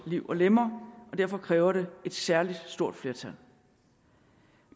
liv og lemmer derfor kræver det et særlig stort flertal